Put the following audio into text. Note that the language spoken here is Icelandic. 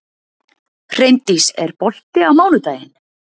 Hreindís, er bolti á mánudaginn?